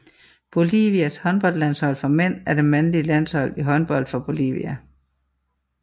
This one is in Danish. Bolivias håndboldlandshold for mænd er det mandlige landshold i håndbold for Bolivia